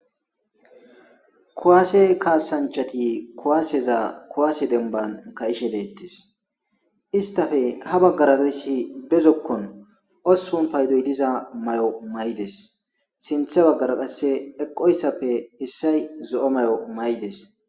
kuwaase kaasanchati kuwaaseza kuwaase demban ka'ishe deettes istafe ha baggara doyssi bezokkon ospun paydoy diza mayo maydes sinthe baggara qasse eqoyssappe issay zo'a mayo maydes